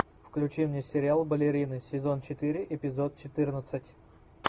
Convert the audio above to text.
включи мне сериал балерины сезон четыре эпизод четырнадцать